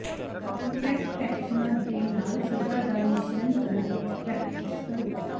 ਕੰਟਰੈਕਟ੍ੈਕਸ਼ਨਾਂ ਦੇ ਨਾਲ ਸਜ਼ਾ ਦਾ ਮਿਸ਼ਰਨ ਕਰਨ ਵਿੱਚ ਪ੍ਰੈਕਟਿਸ ਕਰੋ